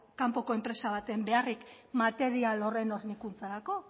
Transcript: kanpoko enpresa baten beharrik material horren hornikuntzarako